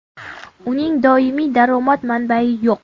Uning doimiy daromad manbai yo‘q.